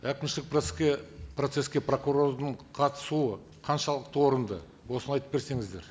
әкімшілік процесске прокурордың қатысуы қаншалықты орынды осыны айтып берсеңіздер